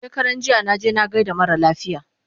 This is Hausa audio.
shekaranjiya naje na gaida mara lafiya